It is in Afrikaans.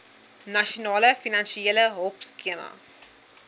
nasionale finansiële hulpskema